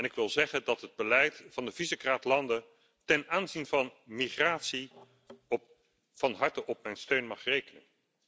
Ik wil zeggen dat het beleid van de Visegrad landen ten aanzien van migratie van harte op mijn steun mag rekenen.